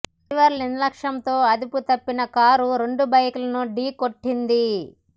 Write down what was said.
driver నిర్లక్ష్యంతో అదుపుతప్పిన car రెండు బైక్ లను ఢీ కొట్టింది